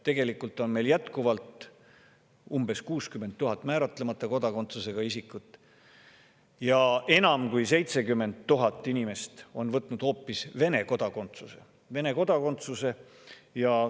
Tegelikult on meil jätkuvalt umbes 60 000 määratlemata kodakondsusega isikut ja enam kui 70 000 inimest on võtnud hoopis Vene kodakondsuse.